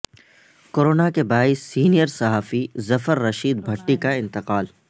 corona کے باعث senior صحافی ظفر رشید بھٹی کا انتقال